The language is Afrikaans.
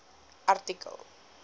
artikel